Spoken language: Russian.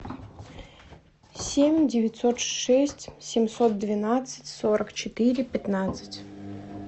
семь девятьсот шесть семьсот двенадцать сорок четыре пятнадцать